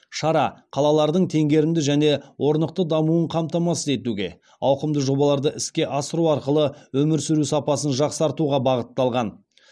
шара қалалардың теңгерімді және орнықты дамуын қамтамасыз етуге ауқымды жобаларды іске асыру арқылы өмір сүру сапасын жақсартуға бағытталған